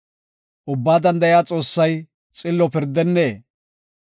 Ubbaa Danda7iya Xoossay xillo pirdennee?